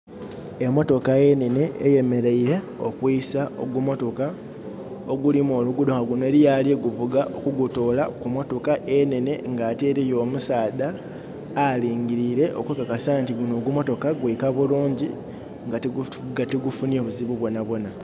Emotoka enene eyemereire okwisa ogumotoka ogulima oluguudo nga guno aliyo aliguvuga kugutoola kumutoka enene ate nga eriyo omusaadha alingirire okukakasa nti gunno ogumotoka gwika bulungi nga tigufunye buzibu bwonabwona